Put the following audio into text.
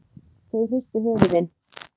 Þau hristu höfuðin.